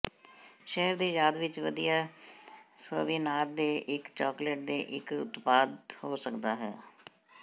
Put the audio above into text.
ਸ਼ਹਿਰ ਦੀ ਯਾਦ ਵਿਚ ਵਧੀਆ ਸੋਵੀਨਾਰ ਦੇ ਇੱਕ ਚਾਕਲੇਟ ਦੇ ਇੱਕ ਉਤਪਾਦ ਹੋ ਸਕਦਾ ਹੈ